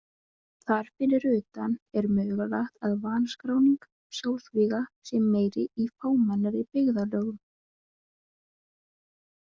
Þar fyrir utan er mögulegt að vanskráning sjálfsvíga sé meiri í fámennari byggðarlögum.